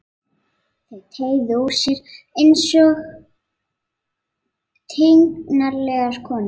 Þau teygðu úr sér einsog tignarlegar konur.